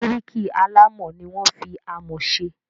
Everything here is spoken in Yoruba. Bíríkì alámọ̀ ni wọ́n fi amọ̀ se.